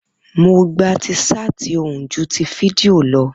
Mo gba ti ṣáàtì ohùn ju ti fídíò lọ